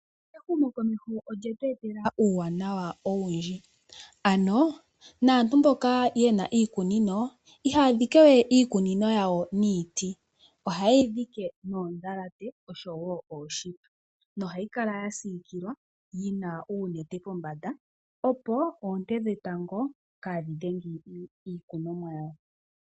Ehumokomeho olyetu etela uuwanawa owundji. Ano naantu mboka ye na iikunino ihaa dhike we iikunino yawo niiti, ohaye yi dhike noondhalate osho wo ooshipe nohayi kala ya siikilwa yi na uunete pombanda opo oonte dhetango kaadhi dhenge iikunomwa yawo.